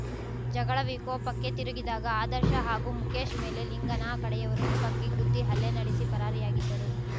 ಜಗಳ ವಿಕೋಪಕ್ಕೆ ತಿರುಗಿದಾಗ ಆದರ್ಶ ಹಾಗೂ ಮುಕೇಶ್ ಮೇಲೆ ಲಿಂಗನ ಕಡೆಯವರು ಮುಖಕ್ಕೆ ಗುದ್ದಿ ಹಲ್ಲೆ ನಡೆಸಿ ಪರಾರಿಯಾಗಿದ್ದರು